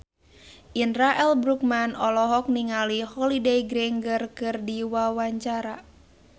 Indra L. Bruggman olohok ningali Holliday Grainger keur diwawancara